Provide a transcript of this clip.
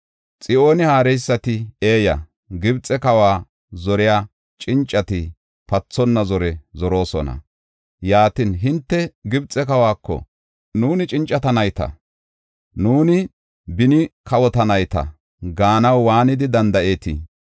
Xo7aane haareysati eeya; Gibxe kawa zoriya cincati pathonna zore zoroosona. Yaatin, hinte Gibxe kawako, “Nuuni cincata nayta; nuuni beni kawota nayta” gaanaw waanidi danda7eetii?